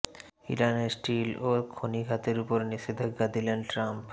ইরানের স্টিল ও খনি খাতের ওপর নিষেধাজ্ঞা দিলেন ট্রাম্প